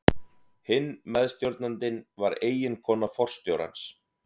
Hinn meðstjórnandinn var eiginkona forstjórans.